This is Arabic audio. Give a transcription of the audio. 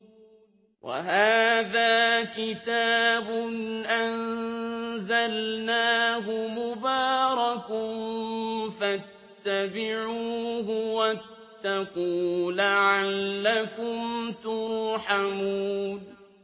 وَهَٰذَا كِتَابٌ أَنزَلْنَاهُ مُبَارَكٌ فَاتَّبِعُوهُ وَاتَّقُوا لَعَلَّكُمْ تُرْحَمُونَ